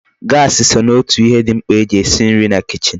Gasi so n'otu ihe di mkpa eji esi nri na kichin